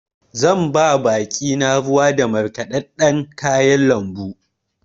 Zan ba baƙi na ruwa da markaɗaɗɗan kayan lambu.